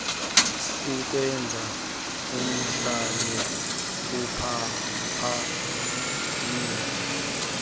kukwenza uhlale uphaphamile